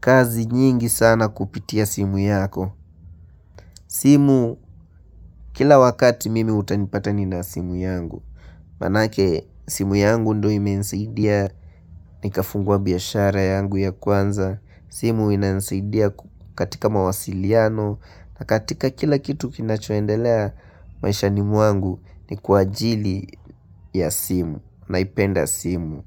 kazi nyingi sana kupitia simu yako simu kila wakati mimi utanipata ni na simu yangu Manake simu yangu ndo imenisaidia ni kafungua biashara yangu ya kwanza simu inanisidia katika mawasiliano na katika kila kitu kinachoendelea maishani muangu ni kwa ajili ya simu naipenda simu.